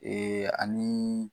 Ee ani